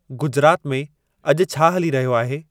गुजरात में अॼु छा हली रहियो आहे